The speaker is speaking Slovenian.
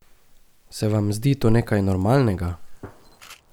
Se vam zdi to nekaj normalnega?